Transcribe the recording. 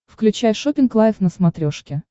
включай шоппинг лайв на смотрешке